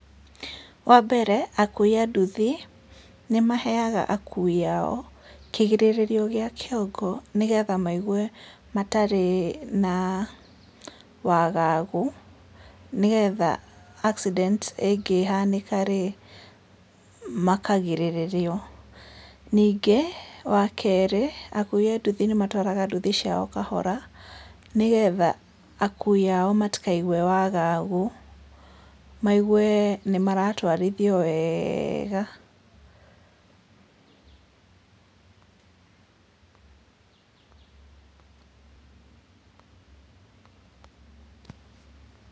Wa mbere akui a nduthi nĩ maheaga akui ao kĩgirĩrĩrio gĩa kĩongo nĩgetha maigue matarĩ na wagagu, nĩgetha accident ĩngĩhanĩka rĩ makagirĩrĩrio, ningĩ wa kerĩ akui anduthi nĩmatwaraga nduthi ciao o kahora nĩgetha akui ao matikaigue wagagu, maigue nĩ maratwarithio wega.